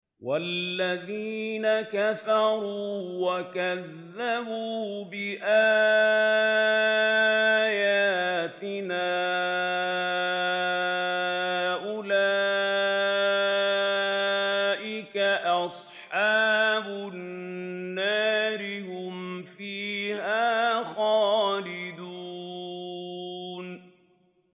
وَالَّذِينَ كَفَرُوا وَكَذَّبُوا بِآيَاتِنَا أُولَٰئِكَ أَصْحَابُ النَّارِ ۖ هُمْ فِيهَا خَالِدُونَ